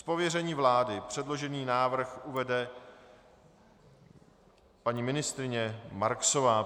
Z pověření vlády předložený návrh uvede paní ministryně Marksová.